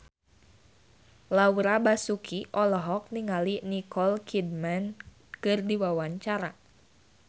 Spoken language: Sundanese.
Laura Basuki olohok ningali Nicole Kidman keur diwawancara